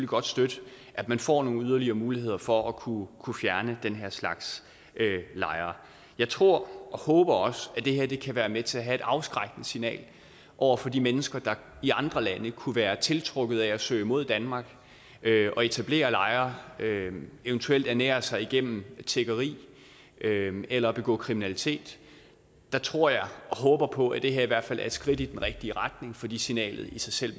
godt støtte at man får nogle yderligere muligheder for at kunne kunne fjerne den her slags lejre jeg tror og håber også at det her kan være med til at have et afskrækkende signal over for de mennesker der i andre lande kunne være tiltrukket af at søge mod danmark og etablere lejre eventuelt ernære sig gennem tiggeri eller begå kriminalitet der tror jeg og håber på at det her i hvert fald er et skridt i den rigtige retning fordi signalet i sig selv